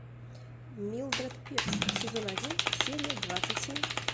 милдред пирс сезон один серия двадцать семь